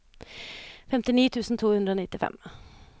femtini tusen to hundre og nittifem